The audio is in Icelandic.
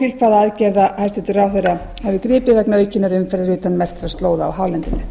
til hvaða aðgerða hæstvirtur ráðherra hafi gripið vegna aukinnar umferðar utan merktra slóða á hálendinu